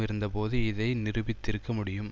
இருந்தபோது இதை நிரூபித்திருக்க முடியும்